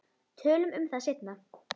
Tölum um það seinna.